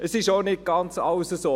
Es ist schon nicht ganz alles so.